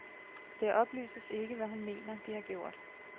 Det oplyses ikke, hvad hun mener, de har gjort.